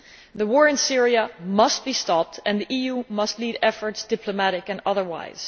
The war in Syria must be stopped and the EU must lead efforts, diplomatic and otherwise.